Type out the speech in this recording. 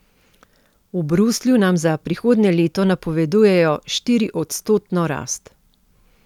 V Bruslju nam za prihodnje leto napovedujejo štiriodstotno rast ...